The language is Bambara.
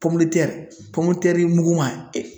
i muguma.